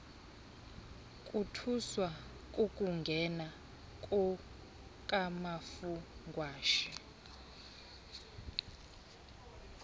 bothuswa kukungena kukamafungwashe